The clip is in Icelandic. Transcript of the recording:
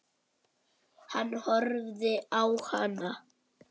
Hann horfði á hana.